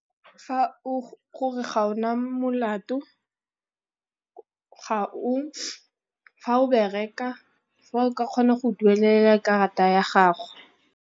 Fa gore ga o na molato, fa o bereka, fa o ka kgona go duelela karata ya gago.